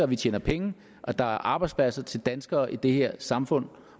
vi tjener penge og at der er arbejdspladser til danskerne i det her samfund